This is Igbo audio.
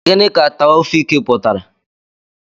Gịnị ka Taofiq pụtara?